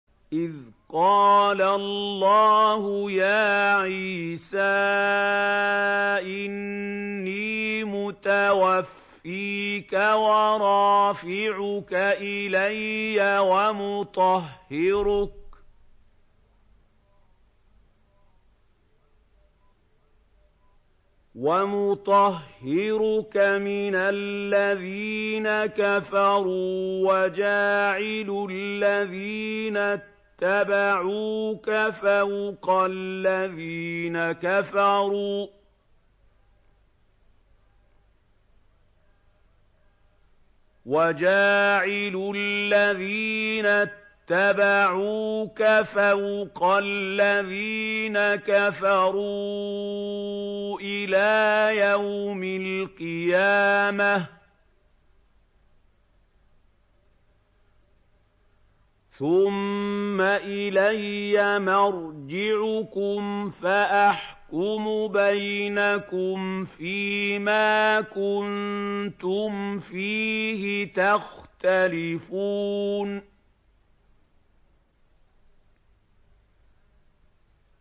إِذْ قَالَ اللَّهُ يَا عِيسَىٰ إِنِّي مُتَوَفِّيكَ وَرَافِعُكَ إِلَيَّ وَمُطَهِّرُكَ مِنَ الَّذِينَ كَفَرُوا وَجَاعِلُ الَّذِينَ اتَّبَعُوكَ فَوْقَ الَّذِينَ كَفَرُوا إِلَىٰ يَوْمِ الْقِيَامَةِ ۖ ثُمَّ إِلَيَّ مَرْجِعُكُمْ فَأَحْكُمُ بَيْنَكُمْ فِيمَا كُنتُمْ فِيهِ تَخْتَلِفُونَ